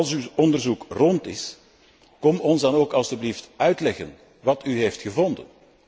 Als uw onderzoek rond is, kom ons dan ook alstublieft uitleggen wat u heeft gevonden.